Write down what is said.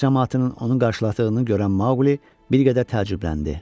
Kənd camaatının onun qarşıladığını görən Mauqli bir qədər təəccübləndi.